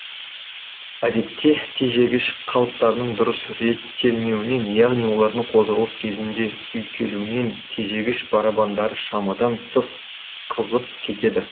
әдетте тежегіш қалыптарының дұрыс реттелмеуінен яғни олардың қозғалыс кезінде үйкелуінен тежегіш барабандары шамадан тыс қызып кетеді